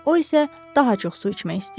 O isə daha çox su içmək istəyirdi.